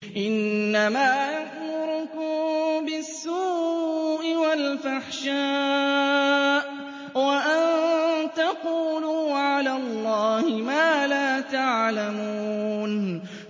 إِنَّمَا يَأْمُرُكُم بِالسُّوءِ وَالْفَحْشَاءِ وَأَن تَقُولُوا عَلَى اللَّهِ مَا لَا تَعْلَمُونَ